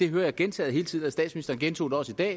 hører gentaget hele tiden statsministeren gentog det også i dag